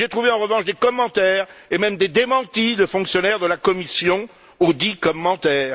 J'ai trouvé en revanche des commentaires et même des démentis de fonctionnaires de la Commission auxdits commentaires.